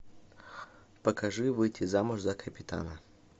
покажи выйти замуж за капитана